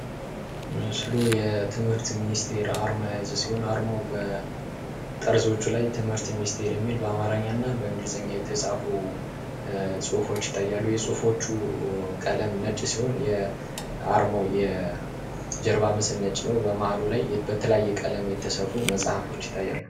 ምስሉ የትምህርት ሚኒስቴር የያዘ አርማ ሲሆን አርማው በጠርዞቹ ላ ትምህርት ሚኒስቴር የሚል በአማርኛ እና በእንግሊዝኛ የተጻፉ ጽሑፎች ይታያሉ። የጽሑፎቹ ቀለም ነጭ ሲሆን የአርማው የጀርባ ምስል ነጭ ነው። በመሀሉ ላይ በተለያየ ቀለም የተሰሩ መጽሐፎች ይታያሉ።